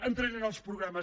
entraré en els programes